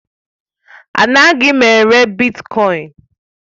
Anaghị m ere bitkọin.